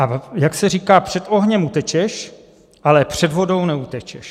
A jak se říká, před ohněm utečeš, ale před vodou neutečeš.